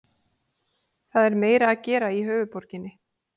Það er meira að gera í höfuðborginni.